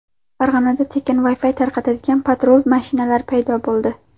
Farg‘onada tekin Wi-Fi tarqatadigan patrul mashinalar paydo bo‘ldi .